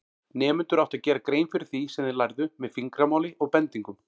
Nemendur áttu að gera grein fyrir því sem þeir lærðu með fingramáli og bendingum.